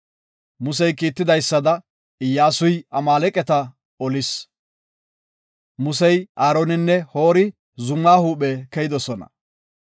Musey kiitidaysada Iyyasuy Amaaleqata olis. Musey, Aaroninne Hoori zuma huuphe keyidosona.